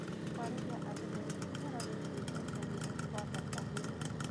Kwarĩria andũ ethĩ ũhoro wĩgiĩ mbeca nĩ kwa bata mũno.